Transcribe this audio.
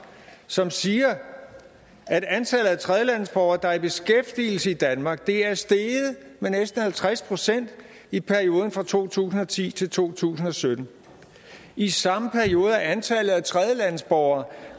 som siger at antallet af tredjelandsborgere der er i beskæftigelse i danmark er steget med næsten halvtreds procent i perioden fra to tusind og ti til 2017 i samme periode er antallet af tredjelandsborgere